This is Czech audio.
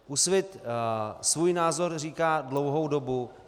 Úsvit svůj názor říká dlouhou dobu.